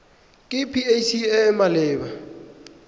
ke pac e e maleba